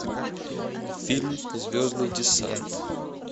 фильм звездный десант